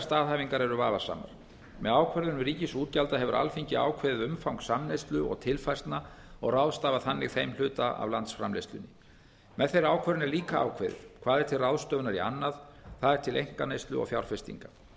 staðhæfingar eru vafasamar með ákvörðun ríkisútgjalda hefur alþingi ákveðið umfang samneyslu og tilfærslna og ráðstafað þannig þeim hluta af landsframleiðslunni með þeirri ákvörðun er líka ákveðið hvað er til ráðstöfunar í annað það er til einkaneyslu og fjárfestingar